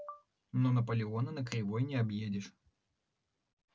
но наполеона на кривой не объедешь